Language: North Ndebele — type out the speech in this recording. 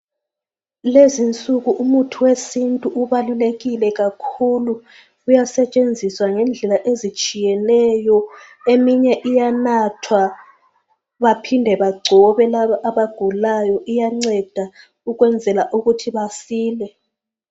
Lezinsuku imithi wesintu ubalulekile kakhulu uyasetshenziswa ngendlela ezitshiyeneyo eminye iyanathwa baphinde bagcobe labo abagulayo iyanceda ukwenzela ukuthi basile.